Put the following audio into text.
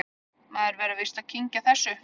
Maður verður víst að kyngja þessu